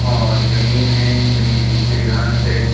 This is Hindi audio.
और जमीन है जमीन के नीचे घास है।